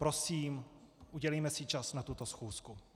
Prosím, udělejme si čas na tuto schůzku.